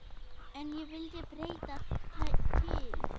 En ég vildi breyta til.